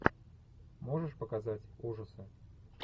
можешь показать ужасы